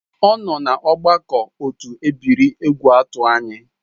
Ọ nọ na ọgbakọ otu ebiri Egwuatu anyị